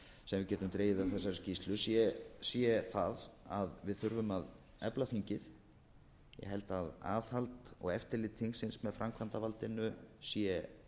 sem við getum dregið af þessari skýrslu sé það að við þurfum að efla þingið ég held að aðhald og eftirlit þingsins með framkvæmdarvaldinu sé